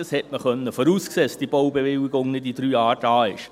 Man konnte voraussehen, dass die Baubewilligung nicht in drei Jahren da ist.